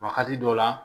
Wa wagati dɔw la